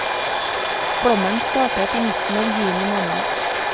Flommen startet i midten av juni måned.